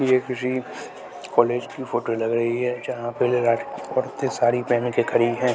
ये किसी कॉलेज की फोटो लग रही है जहां पे औरतें साड़ी पेहन के खड़ी हैं।